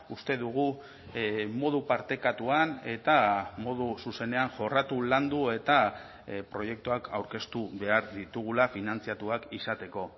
uste dugu modu partekatuan eta modu zuzenean jorratu landu eta proiektuak aurkeztu behar ditugula finantzatuak izateko